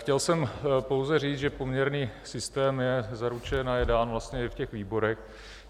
Chtěl jsem pouze říct, že poměrný systém je zaručen a je dán vlastně i v těch výborech.